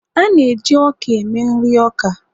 a na-eji ọka eme nri oka